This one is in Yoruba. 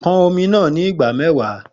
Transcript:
Pon omi naa ni ìgbà mẹ́wàá